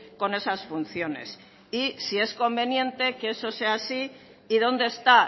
con esas funciones y si es conveniente que eso sea así y dónde está